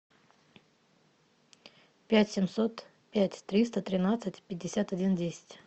пять семьсот пять триста тринадцать пятьдесят один десять